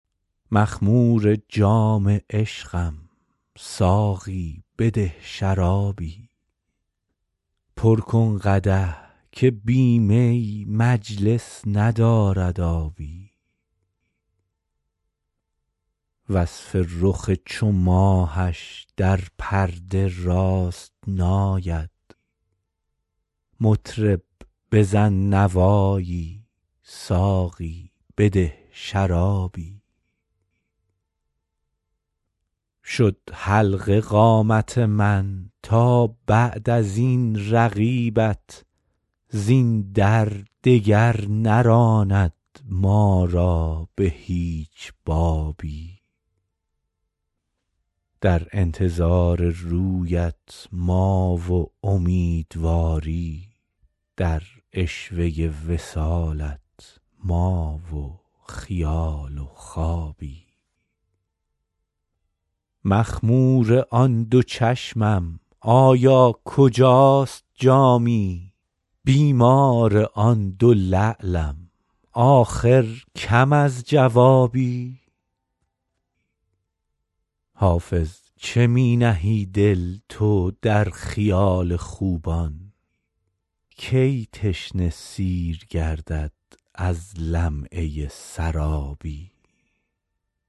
مخمور جام عشقم ساقی بده شرابی پر کن قدح که بی می مجلس ندارد آبی وصف رخ چو ماهش در پرده راست نآید مطرب بزن نوایی ساقی بده شرابی شد حلقه قامت من تا بعد از این رقیبت زین در دگر نراند ما را به هیچ بابی در انتظار رویت ما و امیدواری در عشوه وصالت ما و خیال و خوابی مخمور آن دو چشمم آیا کجاست جامی بیمار آن دو لعلم آخر کم از جوابی حافظ چه می نهی دل تو در خیال خوبان کی تشنه سیر گردد از لمعه سرابی